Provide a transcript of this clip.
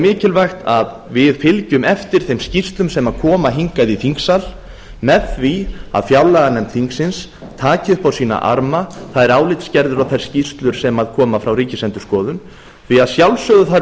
mikilvægt að við fylgjum eftir þeim skýrslum sem koma hingað í þingsal með því að fjárlaganefnd þingsins taki upp á sína arma þær álitsgerðir og þær skýrslur sem koma frá ríkisendurskoðun því að sjálfsögðu þarf